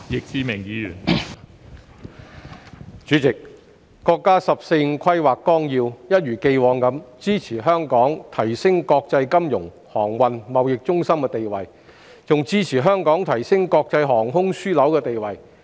代理主席，國家《十四五規劃綱要》一如既往支持香港提升國際金融、航運和貿易中心的地位，亦支持香港提升國際航空樞紐地位。